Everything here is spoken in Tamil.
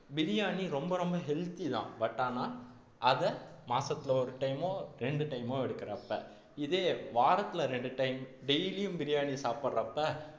பிரியாணி ரொம்ப ரொம்ப healthy தான் but ஆனா அதை மாசத்துல ஒரு time ஓ ரெண்டு time ஓ எடுக்குறப்ப இதே வாரத்துல ரெண்டு time daily யும் பிரியாணி சாப்பிடுறப்ப